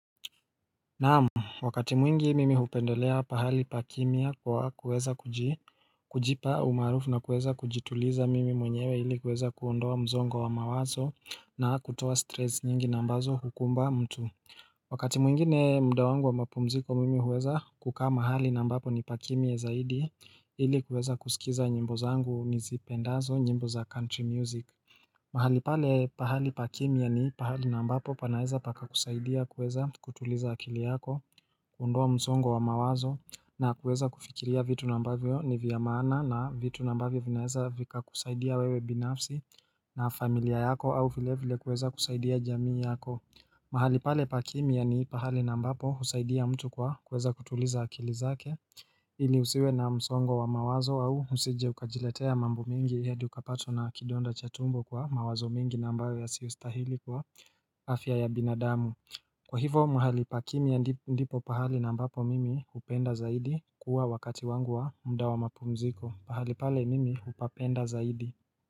Naam, wakati mwingi mimi hupendelea pahali pakimia kwa kuweza kujipa umarufu na kuweza kujituliza mimi mwenyewe ili kuweza kuondoa msongo wa mawazo na kutoa stress nyingi na mbazo hukumba mtu Wakati mwingine mdo wangu wa mapumziko mimi huweza kukaa mahali na ambapo ni pakimya zaidi ili kuweza kusikiza nyimbo zangu nizipendazo nyimbo za country music mahali pale pahali pakimia ni pahali nambapo panaeza paka kusaidia kueza kutuliza akili yako, kuondoa msongo wa mawazo na kueza kufikiria vitu na ambavyo ni viya maana na vitu na ambavyo vinaeza vika kusaidia wewe binafsi na familia yako au vile vile kueza kusaidia jamii yako. Mahali pale pakimia ni pahali na ambapo husaidia mtu kwa kweza kutuliza akili zake ili usiwe na msongo wa mawazo au usije ukajiletea mambo mingi hadi ukapatwa na kidonda chatumbo kwa mawazo mingi na ambayo ya siostahili kwa afya ya binadamu Kwa hivo mahali pa kimya ndipo pahali nambapo mimi upenda zaidi kuwa wakati wangu wa mda wa mapumziko pahali pale mimi hupapenda zaidi.